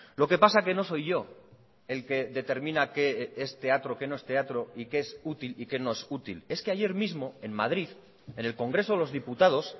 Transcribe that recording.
lo que pasa que no soy yo el que determina qué es teatro qué no es teatro y qué es útil y qué no es útil es que ayer mismo en madrid en el congreso de los diputados